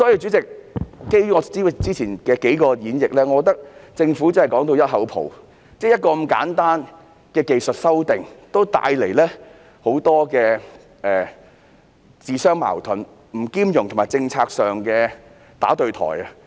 主席，基於我之前的數個論點，我認為政府真是說到"一口泡"，如此簡單的技術性修訂也這樣自相矛盾、不兼容和政策上"打對台"。